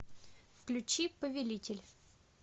включи повелитель